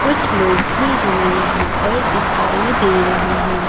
कुछ लोग भी हमें यहां पर दिखाई दे रहे है।